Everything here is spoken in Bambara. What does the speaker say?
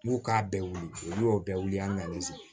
N'u k'a bɛɛ wili olu y'o bɛɛ wili an ka